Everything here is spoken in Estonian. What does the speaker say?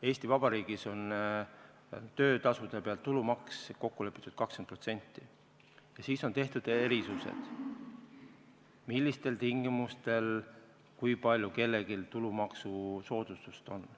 Eesti Vabariigis on töötasude pealt kokku lepitud tulumaks 20% ja siis on tehtud erisused, millistel tingimustel kui palju kellelgi tulumaksusoodustust on.